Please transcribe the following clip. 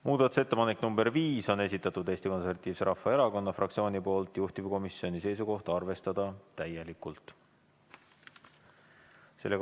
Muudatusettepanek nr 5 on esitatud Eesti Konservatiivse Rahvaerakonna fraktsiooni poolt, juhtivkomisjoni seisukoht: arvestada täielikult.